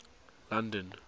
london